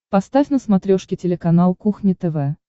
поставь на смотрешке телеканал кухня тв